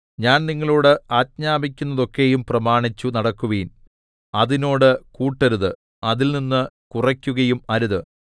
ഞാൻ നിങ്ങളോട് ആജ്ഞാപിക്കുന്നതൊക്കെയും പ്രമാണിച്ചു നടക്കുവിൻ അതിനോട് കൂട്ടരുത് അതിൽനിന്ന് കുറയ്ക്കുകയും അരുത്